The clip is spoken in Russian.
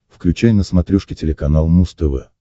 включай на смотрешке телеканал муз тв